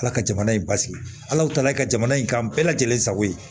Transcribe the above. Ala ka jamana in basigi ala ye ka jamana in kanu bɛɛ lajɛlen sago ye